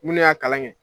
Mun ne y'a kalan kɛ